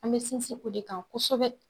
An be sinsin o de kan kosɛbɛ